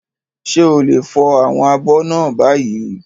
Ṣé o lè fọ àwọn abọ́ náà báyìí?